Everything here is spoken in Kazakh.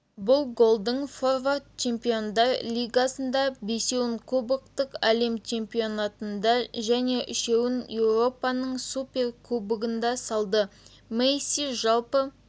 бұл голдың форвард чемпиондар лигасында бесеуін клубтық әлем чемпионатында және үшеуін еуропаның суперкубогында салды месси жалпы